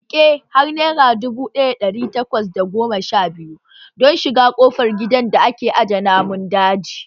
Riƙe har naira dubu ɗaya da ɗari takwas da goma sha biyu don shiga ƙofar gidan aje namun daji